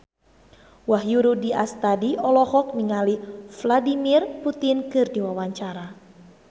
Wahyu Rudi Astadi olohok ningali Vladimir Putin keur diwawancara